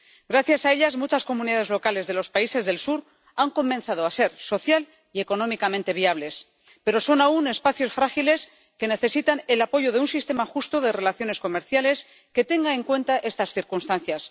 Gracias a ellas, muchas comunidades locales de los países del sur han comenzado a ser social y económicamente viables, pero son aún espacios frágiles que necesitan el apoyo de un sistema justo de relaciones comerciales que tenga en cuenta estas circunstancias.